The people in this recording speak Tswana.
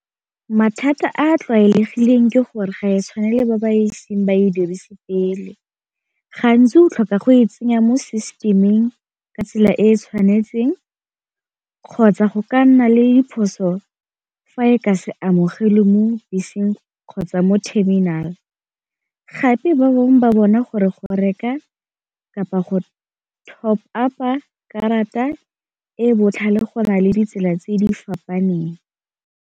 Mathata a a tlwaelegileng ke gore ga e tshwanela ba ba eseng ba e dirise pele, gantsi o tlhoka go e tsenya mo system-ing ka tsela e e tshwanetseng kgotsa go ka nna le diphoso fa o ka se amogelwe mo beseng kgotsa mo terminal, gape ba bangwe ba bona gore go reka kapa go top up-pa karata e botlhale go na le ditsela tse di fapaneng.